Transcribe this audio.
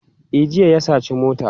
E, jiya ya saci mota.